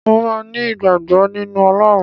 Mò máa ní ìgbàgbọ́ nínú Ọlọ́run.